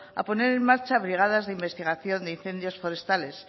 a poner en marcha brigadas de investigación de incendios forestales